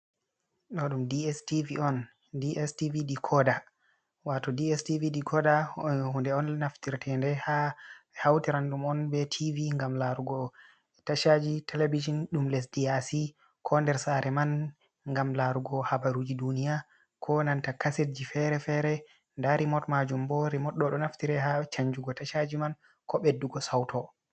Ɗo dum dstv on, dstv dikoda wato dstv dikoda hunde on naftirtende ha ɓe hautirandum on be tv ngam larugo tashaji televijin ɗum lesdi yaasi ko nder sare man ngam larugo habaruji duniya ko nanta kasedji fere-fere nda rimot majum bo, rimot ɗo naftira ha chanjugo tashaji man ko ɓeddugo sauto.